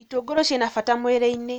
Itũngũrũ cina bata mwĩrĩ-inĩ